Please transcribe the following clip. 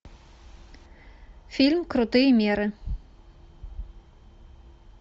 фильм крутые меры